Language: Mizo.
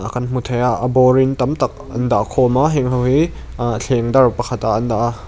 a kan hmu thei a a bawr in tam tak an dah khawm a heng ho hi ahh theng dar pakhatah an dah a.